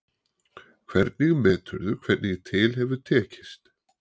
Hvernig meturðu hvernig til hefur tekist?